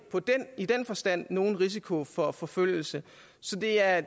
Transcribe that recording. i den forstand nogen risiko for forfølgelse så det er